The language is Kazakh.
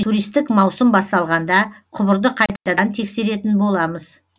туристік маусым басталғанда құбырды қайтадан тексеретін боламыз